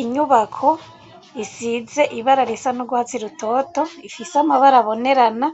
Inyubako, isize ibara risa n'urwatsi rutoto, ifise amabara abonerana,